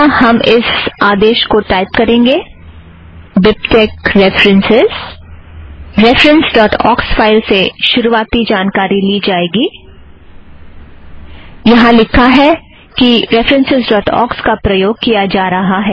references dot ox file से शुरुवाती जानकारी ली जायेगी - यहाँ लिखा है कि रेफ़रन्सस् ड़ॉट ऑक्स का प्रयोग किया जा रहा है